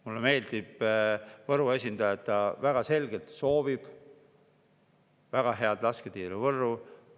Mulle meeldib, et Võru esindaja väga selgelt soovib väga head lasketiiru Võrru.